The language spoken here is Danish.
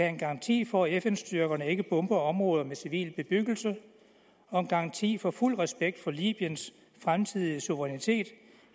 en garanti for at fn styrkerne ikke bomber områder med civil bebyggelse og en garanti for fuld respekt for libyens fremtidige suverænitet